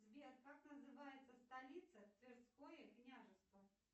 сбер как называется столица тверское княжество